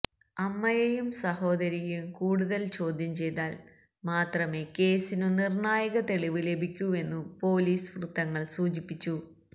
അമ്മയെയും സഹോദരിയെയും കൂടുതല് ചോദ്യം ചെയ്താല് മാത്രമേ കേസിനു നിര്ണായക തെളിവ് ലഭിക്കൂവെന്നു പോലീസ് വൃത്തങ്ങള് സൂചിപ്പിച്ചു